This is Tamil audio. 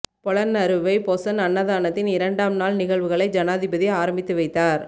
பொலன்னறுவை பொசன் அன்னதானத்தின் இரண்டாம் நாள் நிகழ்வுகளை ஜனாதிபதி ஆரம்பித்து வைத்தார்